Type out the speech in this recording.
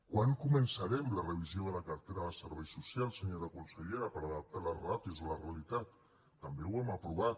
quan començarem la revisió de la cartera de serveis socials senyora consellera per adaptar les ràtios a la realitat també ho hem aprovat